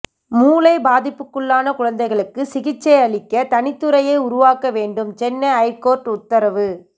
மூளை பாதிப்புக்குள்ளான குழந்தைகளுக்கு சிகிச்சை அளிக்க தனித்துறையை உருவாக்க வேண்டும் சென்னை ஐகோர்ட்டு உத்தரவு